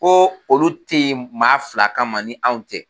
Ko olu teyi maa fila kama ni anw tɛ.